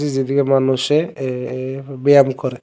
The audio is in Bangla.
যেদিকে মানুষে এ-এ ব্যায়াম করে।